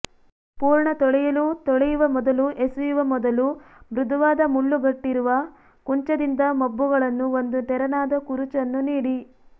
ಪೂರ್ಣ ತೊಳೆಯಲು ತೊಳೆಯುವ ಮೊದಲು ಎಸೆಯುವ ಮೊದಲು ಮೃದುವಾದ ಮುಳ್ಳುಗಟ್ಟಿರುವ ಕುಂಚದಿಂದ ಮಬ್ಬುಗಳನ್ನು ಒಂದು ತೆರನಾದ ಕುರುಚನ್ನು ನೀಡಿ